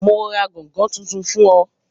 Yóò ra gángan tuntun fún ọ